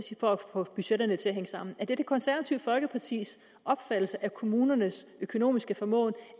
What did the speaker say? for at få budgetterne til at hænge sammen er det det konservative folkepartis opfattelse af kommunernes økonomiske formåen